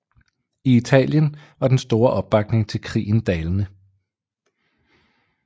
I Italien var den store opbakning til krigen dalende